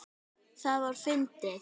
Það var fyndið.